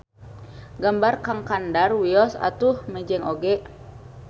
Gambar Kang Kandar wios atuh mejeng oge.